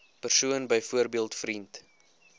persoon byvoorbeeld vriend